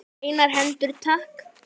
Hreinar hendur takk!